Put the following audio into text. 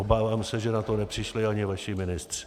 Obávám se, že na to nepřišli ani vaši ministři.